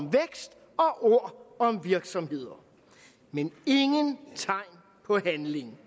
ord om virksomheder men ingen tegn på handling